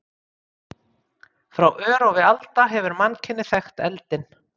Frá örófi alda hefur mannkynið þekkt eldinn.